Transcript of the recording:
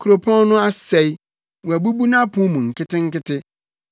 Kuropɔn no asɛe, wɔabubu nʼapon mu nketenkete.